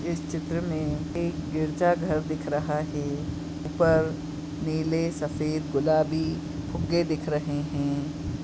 इस चित्र में एक गिरजाघर दिख रहा है ऊपर नीले सफेद गुलाबी फुग्गे दिख रहे हैं।